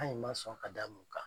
man sɔn ka damu kan.